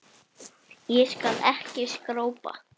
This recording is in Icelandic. Þá skal ég ekki skrópa.